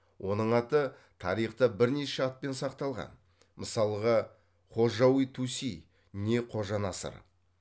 оның аты тарихта бірнеше атпен сақталған мысалға хожауи туси не қожа насыр